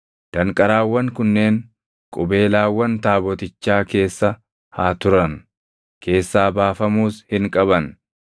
Danqaraawwan kunneen qubeelaawwan taabotichaa keessa haa turan; keessaa baafamuus hin qaban.